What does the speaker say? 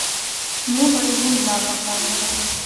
небо и земля показывай